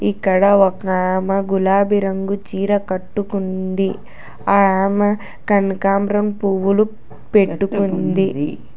ఇక్కడ ఒక ఆమ గులాబీ రంగు చీర కట్టుకుంది ఆ ఆమె కనకంబరం పూవ్వులు పెట్టుకుంది.